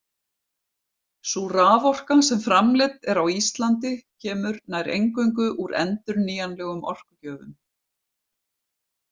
Sú raforka sem framleidd er á Íslandi kemur nær eingöngu úr endurnýjanlegum orkugjöfum.